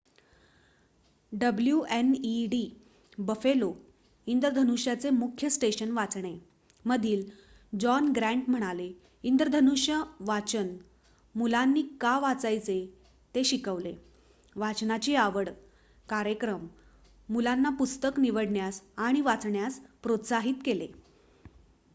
"wned Buffalo इंद्रधनुष्याचे मुख्य station वाचणे मधील जॉन ग्रँट म्हणाले "इंद्रधनुष्य वाचन मुलांनी का वाचायचे ते शिकवले,... वाचनाची आवड - [कार्यक्रम] मुलांना पुस्तक निवडण्यास आणि वाचण्यास प्रोत्साहित केले.""